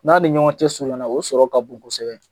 N'a ni ɲɔgɔn cɛ suruɲana, o sɔrɔ ka bon kosɛbɛ.